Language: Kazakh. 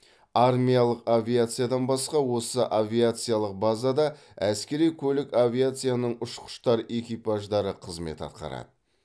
армиялық авиациядан басқа осы авиациялық базада әскери көлік авиацияның ұшқыштар экипаждары қызмет атқарады